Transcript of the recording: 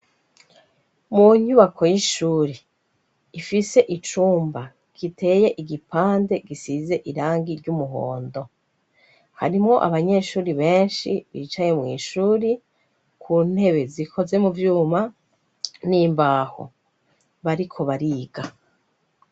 Mu nyubako y'ishuri ifise icumba giteye igipande gisize irangi ry'umuhondo harimwo abanyeshuri benshi bicaye mw'ishuri ku ntebe zikoze mu vyuma n'imbaho bariko bariga.